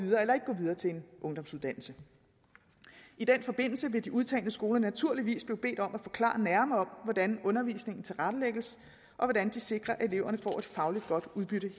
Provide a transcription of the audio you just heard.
videre til en ungdomsuddannelse i den forbindelse vil de udtagne skoler naturligvis blive bedt om at forklare nærmere om hvordan undervisningen tilrettelægges og hvordan de sikrer at eleverne får et fagligt godt udbytte